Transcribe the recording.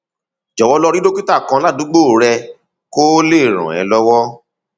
jọwọ lọ rí dókítà kan ládùúgbò rẹ kó lè ràn ẹ lọwọ